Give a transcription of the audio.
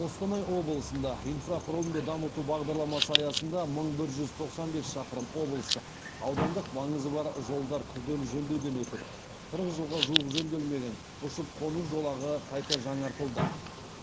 қостанай облысында инфрақұрылымды дамыту бағдарламасы аясында мың бір жүз тоқсан бес шақырым облыстық аудандық маңызы бар жолдар күрделі жөндеуден өтіп қырық жылға жуық жөнделмеген ұшып қону жолағы қайта жаңартылды